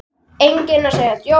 Enginn að segja djók?